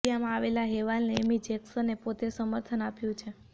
મિડિયામાં આવેલા હેવાલને એમી જેક્શને પોતે સમર્થન આપ્યુ છે